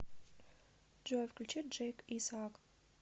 джой включи джейк исаак